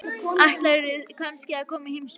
Ætlarðu kannski að koma í heimsókn?